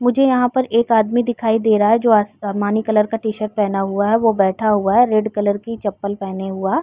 मुझे यहाँ पर एक आदमी दिखाई दे रहा है जो आसमानी कलर का टी-शर्ट पेहना हुआ है वो बैठा हुआ है रेड कलर की चप्पल पेहना हुआ --